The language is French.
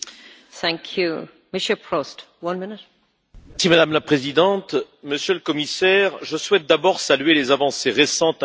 Madame la Présidente, Monsieur le Commissaire, je souhaite d'abord saluer les avancées récentes concernant les aides d'État pour les ports et les aéroports.